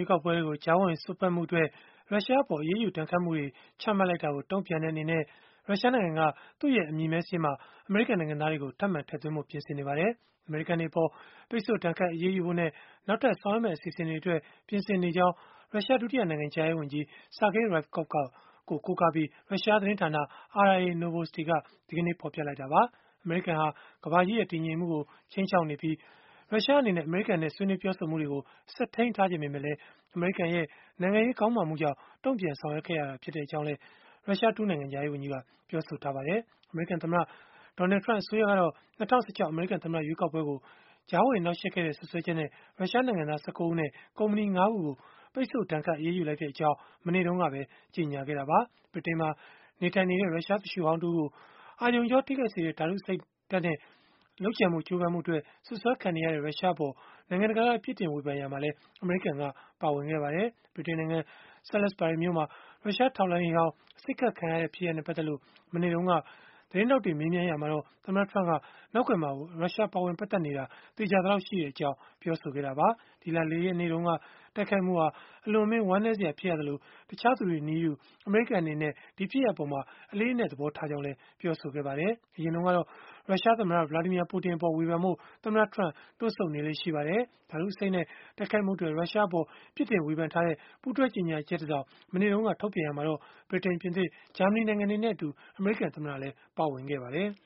ွေးကောက်ပွဲတွေကို ကြားဝင်စွက်ဖက်မှုအတွက် ရုရှားအပေါ် အရေးယူဒဏ်ခတ်မှုတွေ ချမှတ်လိုက်တာကို တုံ့ပြန်တဲ့ အနေနဲ့ ရုရှားနိုင်ငံက သူ့ရဲ့အမည်မည်းစာရင်းမှာ အမေရိကန်နိုင်ငံသားတွေကို ထပ်မံထည့်သွင်းဖို့ ပြင်ဆင်နေပါတယ်။ အမေရိကန်တွေအပေါ် ပိတ်ဆို့ဒဏ်ခတ် အရေးယူဖို့နဲ့ နောက်ထပ် ဆောင်ရွက်မယ့် အစီအစဉ်တွေအတွက် ပြင်ဆင်နေကြောင်း ရုရှား ဒုတိယနိုင်ငံခြားရေးဝန်ကြီး Sergei Ryabkov ကို ကိုးကားပြီး ရုရှားသတင်းဌာန RIA Novosti က ဒီကနေ့ပဲ ဖော်ပြလိုက်တာပါ။ အမေရိကန်ဟာ ကမ္ဘာကြီးရဲ့ တည်ငြိမ်မှုကို ခြိမ်းခြောက်နေပြီး၊ ရုရှားအနေနဲ့ အမေရိကန်နဲ့ ဆွေးနွေးပြောဆိုမှုတွေကို ဆက်ထိန်းထားချင်ပေမဲ့၊ အမေရိကန်ရဲ့ နိုင်ငံရေး ခေါင်းမာမှုကြောင့် တန်ပြန်ဆောင်ရွက်ခဲ့ရတာ ဖြစ်ကြောင်းလည်း ရုရှားဒုနိုင်ငံခြားရေးဝန်ကြီးက ပြောဆိုထားပါတယ်။ အမေရိကန်သမ္မတ Donald Trump အစိုးရကတော့ ၂၀၁၆ အမေရိကန် သမ္မတ ရွေးကောက်ပွဲကို ကြားဝင်နှောက်ယှက်ခဲ့တဲ့ စွပ်စွဲချက်နဲ့ ရုရှားနိုင်ငံသား ၁၉ ဦးနဲ့ ကုမ္ပဏီ ၅ ခုကို ပိတ်ဆို့ဒဏ်ခတ် အရေးယူလိုက်ကြောင်း မနေ့တုန်းကပဲ ကြေညာခဲ့တာပါ။ ဗြိတိန်နိုင်ငံမှာ နေထိုင်နေတဲ့ ရုရှားသူလျှိုဟောင်း တဦးကို အာရုံကြော ထိခိုက်စေတဲ့ ဓာတုအဆိပ်နဲ့ ကြိုးပမ်းမှုအတွက် စွပ်စွဲခံနေရတဲ့ ရုရှားအပေါ် နိုင်ငံတကာက ပြစ်တင်ဝေဖန်ရာမှာလည်း အမေရိကန်က ပါဝင်ခဲ့ပါတယ်။ ဗြိတိန်နိုင်ငံ Salisbury မြို့မှာ ရုရှားထောက်လှမ်းရေးဟောင်း အဆိပ်ခတ်ခံခဲ့ရတဲ့ ဖြစ်ရပ်နဲ့ ပတ်သက်လို့ မနေ့တုန်းက သတင်းထောက်တွေ မေးမြန်းရာမှာတော့ သမ္မတ Trump က နောက်ကွယ်မှာ ရုရှားပါဝင်ပတ်သက်နေတာ သေချာသလောက် ရှိတဲ့အကြောင်း ပြောဆိုခဲ့တာပါ။ ဒီလ ၄ ရက်နေ့တုန်းက တိုက်ခိုက်မှုဟာ အလွန်အမင်း ဝမ်းနည်းစရာ ဖြစ်သလို၊ တခြားသူတွေနည်းတူ အမေရိကန်အနေနဲ့ ဒီဖြစ်ရပ်အပေါ် အလေးအနက် သဘောထားကြောင်းလည်း ပြောဆိုခဲ့ပါတယ်။ အရင်တုန်းကတော့ ရုရှားသမ္မတ Vladimir Putin အပေါ် ဝေဖန်ဖို့ သမ္မတ Trump တွန့်ဆုတ်နေလေ့ ရှိပါတယ်။ ဓာတုအဆိပ်နဲ့ တိုက်ခိုက်မှုအတွက် ရုရှားအပေါ် ပြစ်တင်ဝေဖန်ထားတဲ့ ပူးတွဲကြေညာချက်တစောင် မနေ့တုန်းက ထုတ်ပြန်ရာမှာတော့ ဗြိတိန်၊ ပြင်သစ်၊ ဂျာမနီနိုင်ငံတွေနဲ့အတူ အမေရိကန်သမ္မတလည်း ပါဝင်ခဲ့ပါတယ်။